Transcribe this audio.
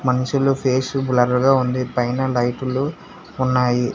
మనుషులు face blur గా ఉంది పైన లైటు లు ఉన్నాయి.